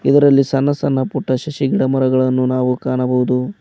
ಅದರಲ್ಲಿ ಸಣ್ಣ ಸಣ್ಣ ಪುಟ್ಟ ಶಶಿ ಗಿಡ ಮರಗಳನ್ನು ನಾವು ಕಾಣಬಹುದು.